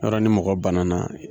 Yɔrɔ ni mɔgɔ banana